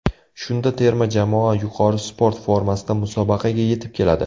Shunda terma jamoa yuqori sport formasida musobaqaga yetib keladi.